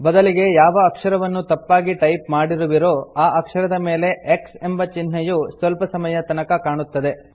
ಬದಲಿಗೆ ಯಾವ ಅಕ್ಷರವನ್ನು ತಪ್ಪಾಗಿ ಟೈಪ್ ಮಾಡಿರುವಿರೋ ಆ ಅಕ್ಷರದ ಮೇಲೆ X ಎಂಬ ಚಿಹ್ನೆಯು ಸ್ವಲ್ಪ ಸಮಯದ ತನಕ ಕಾಣುತ್ತದೆ